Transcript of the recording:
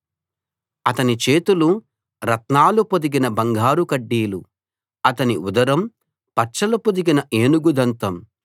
అతని చేతులు రత్నాలు పొదిగిన బంగారు కడ్డీలు అతని ఉదరం పచ్చలు పొదిగిన ఏనుగు దంతం